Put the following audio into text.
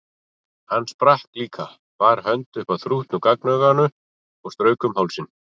Hann sprakk líka, bar hönd upp að þrútnu gagnauga og strauk um hálsinn.